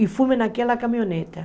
E fomos naquela caminhonete.